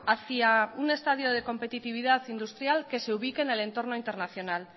hacia un estadio de competitividad industrial que se ubique en el entorno internacional